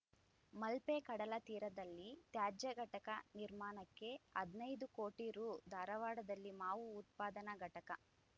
ಮಲ್ಪೆ ಕಡಲ ತೀರದಲ್ಲಿ ತ್ಯಾಜ್ಯ ಘಟಕ ನಿರ್ಮಾಣಕ್ಕೆ ಹದಿನೈದು ಕೋಟಿ ರೂ ಧಾರವಾಡದಲ್ಲಿ ಮಾವು ಉತ್ಪಾದನಾ ಘಟಕ